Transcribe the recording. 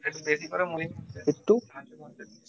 Bittu